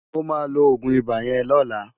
Mo ma lo Ogun iba yen lola